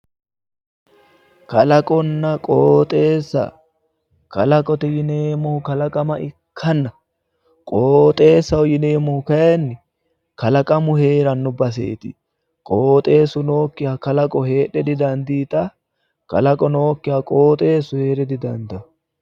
Kalaqonna qooxeessa, kalaqote yineemohu kalaqama ikkanna qooxeessaho yineemohu kayiinni kalaqamu heeranno baseetti, qooxeesu nookiha kalaqo heedhe didandiitawo, kalaqo nookiha qooxeesu heere didandaano.